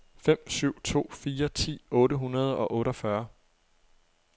fem syv to fire ti otte hundrede og otteogfyrre